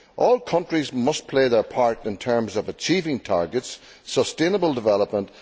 All countries must play their part in terms of achieving targets and sustainable development.